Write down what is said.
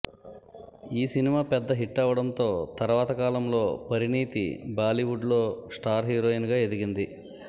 ఈ సినిమా పెద్ద హిట్టవ్వడంతో తర్వాత కాలంలో పరిణీతి బాలీవుడ్ లో స్టార్ హీరోయిన్ గా ఎదిగింది